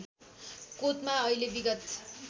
कोतमा अहिले विगत